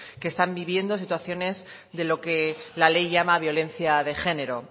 que están viviendo situaciones de lo que la ley llama violencia de género